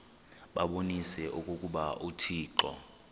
babonise okokuba uthixo